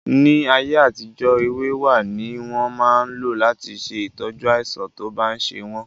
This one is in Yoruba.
Ní ayé àtijó èwe wá ní wọ́n máa ń lò láti ṣe ìtọ́jú àìsàn tó bá ń ṣe wọ́n